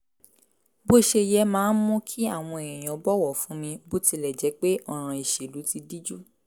bó ṣe yẹ máa ń mú kí àwọn èèyàn bọ̀wọ̀ fún mi bó tilẹ̀ jẹ́ pé ọ̀ràn ìṣèlú ti díjú